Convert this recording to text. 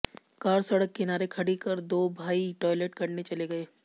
car सड़क किनारे खड़ी कर दो भाई टॉयलेट करने चले गए